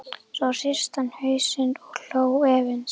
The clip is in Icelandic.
Svo hristi hann hausinn og hló efins.